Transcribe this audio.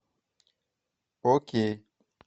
окей